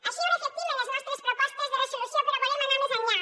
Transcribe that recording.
així ho reflectim en les nostres propostes de resolució però volem anar més enllà